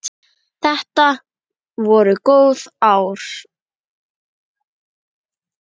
Þetta voru góð ár.